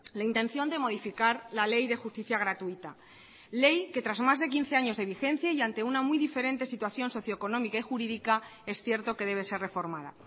la intención de modificar la ley de justicia gratuita ley que tras más de quince años de vigencia y ante una muy diferente situación socioeconómica y jurídica es cierto que debe ser reformada